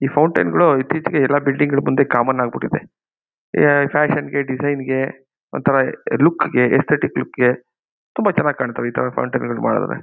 ಈ ಫೌಂಟನ್ ಗಳು ಇತ್ತೀಚಿಗೆ ಎಲ್ಲ ಬಿಲ್ಡಿಂಗ್ ಗಳ ಮುಂದೆ ಕಾಮನ್ ಆಗಿ ಬಿಟ್ಟಿದೆ. ಏ ಫ್ಯಾಷನ್ ಗೆ ಡಿಸೈನ್ ಗೆ ಒಂತರ ಲುಕ್ ಗೆ ಏಸ್ತೆಟಿಕ್ ಲುಕ್ ಗೆ ತುಂಬಾ ಚೆನ್ನಾಗಿ ಕಾಣುತ್ತೆ ಈ ತರ ಫೌಂಟನ್ಗಳನ್ನು ಮಾಡಿದ್ರೆ.